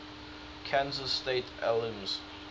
kansas state alums